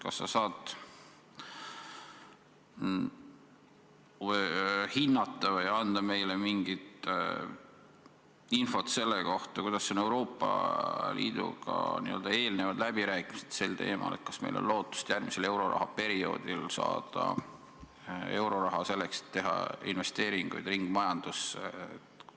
Kas sa saad hinnata või anda meile mingit infot selle kohta, kuidas kulgevad Euroopa Liiduga eelnevad läbirääkimised sel teemal, kas meil on lootust järgmisel euroraha perioodil saada raha selleks, et teha investeeringuid ringmajandusse?